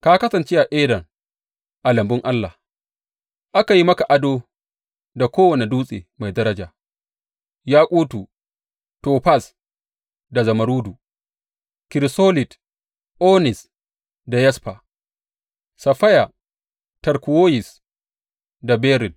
Ka kasance a Eden, a lambun Allah; aka yi maka ado da kowane dutse mai daraja, yakutu, tofaz, da zumurrudu, kirisolit, onis da yasfa, saffaya, turkuwoyis da beril.